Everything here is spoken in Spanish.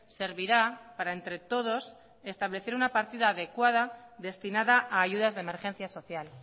servirá para entre todos establecer una partida adecuada destinada a ayudas de emergencia social